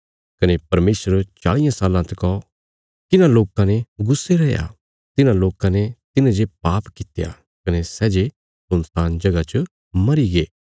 कने परमेशर चाल़ियां साल्लां तकौ किन्हां लोकां ने गुस्से रैया तिन्हां लोकां ने तिन्हें जे पाप कित्या कने सै जे सुनसान जगह च मरीगे